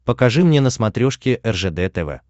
покажи мне на смотрешке ржд тв